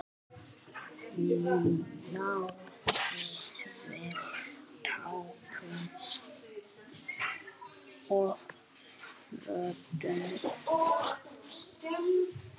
Náði vel týpum og röddum.